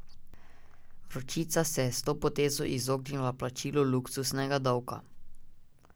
Vročica se je s to potezo izognila plačilu luksuznega davka.